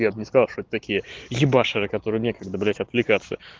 я б не сказал что это такие ебаширы которые некогда блять отвлекаться